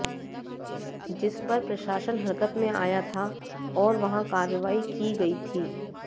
जिस पर प्रशासन हरकत में आया था और वहां कार्रवाई की गई थी